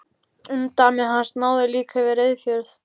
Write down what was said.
Umdæmi hans náði líka yfir Reyðarfjörð.